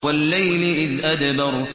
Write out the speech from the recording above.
وَاللَّيْلِ إِذْ أَدْبَرَ